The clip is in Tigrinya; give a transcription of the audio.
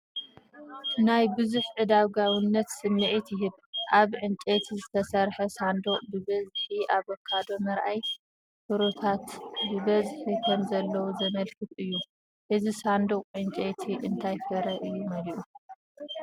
ናይ ብዝሕን ዕዳጋውነትን ስምዒት ይህብ። ኣብ ዕንጨይቲ ዝተሰርሐ ሳንዱቕ ብብዝሒ ኣቮካዶ ምርኣይ፡ ፍሩታታት ብብዝሒ ከምዘለዉ ዘመልክት እዩ። እቲ ሳንዱቕ ዕንጨይቲ እንታይ ፍረ እዩ መሊኡ፧